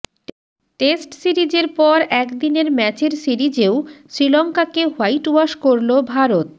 test সিরিজের পর একদিনের ম্যাচের সিরিজেও শ্রীলঙ্কাকে হোয়াইট ওয়াশ করল ভারত